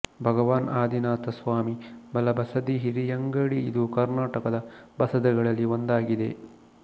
ಭಗವಾನ್ ಆದಿನಾಥ ಸ್ವಾಮಿ ಬಲ ಬಸದಿ ಹಿರಿಯಂಗಡಿ ಇದು ಕರ್ನಾಟಕದ ಬಸದಿಗಳಲ್ಲಿ ಒಂದಾಗಿದೆ